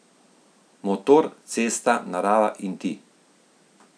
Motor, cesta, narava in ti.